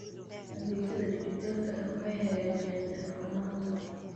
Adeegyada dijitaalka ah waxay hagaajiyaan daahfurnaanta.